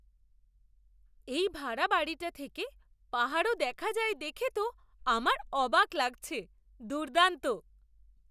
এই ভাড়া বাড়িটা থেকে পাহাড়ও দেখা যায় দেখে তো আমার অবাক লাগছে। দুর্দান্ত!